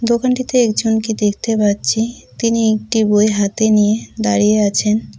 দোকানটিতে একজনকে দেখতে পাচ্ছি তিনি একটি বই হাতে নিয়ে দাঁড়িয়ে আছেন।